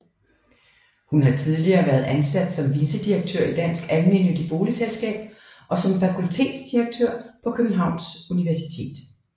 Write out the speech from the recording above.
Hun har tidligere været ansat som vicedirektør i Dansk Almennyttigt Boligselskab og som fakultetsdirektør på Københavns Universitet